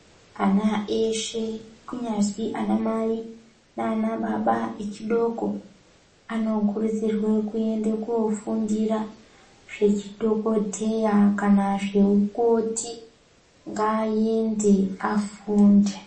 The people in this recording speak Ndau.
Ana eshe kunyazwi anamai, naanababa echidoko anokurudzirwa kuende koofundira zvechi dhokodheya kana zveukoti. Ngaaende afunde.